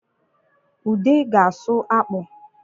Ude ga-asụ akpụ